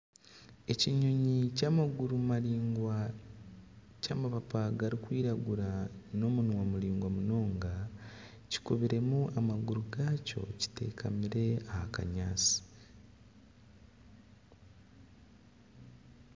Ekinyonyi ky'amaguru maringwa ky'amapapa garikwiragura n'omunwa muringwa munonga kikubiremu amaguru gakyo kitekamire aha kanyaatsi .